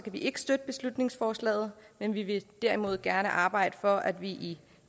vi ikke støtte beslutningsforslaget men vi vil derimod gerne arbejde for at vi i